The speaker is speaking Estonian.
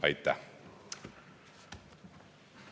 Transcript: Aitäh!